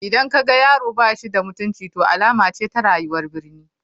Idan ka ga yaro ba shi da mutunci to alama ce ta rayuwar birni.